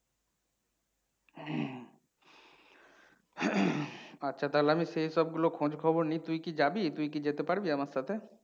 আচ্ছা, তাহলে আমি সেই সবগুলো খোঁজ খবর নিই। তুই কি যাবি? তুই কি যেতে পারবি আমার সাথে?